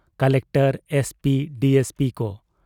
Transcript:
Collector, SP, DSP ᱠᱚ ᱾